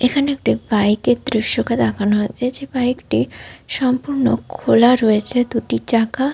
এখানে একটা বাইক এর দৃশ্যকে দেখানো হয়েছে। যে বাইক টি সম্পূর্ণ খোলা রয়েছে। দুটি চাকা --